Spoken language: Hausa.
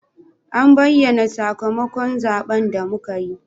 A bayyana sakamakon zaben da muka yi.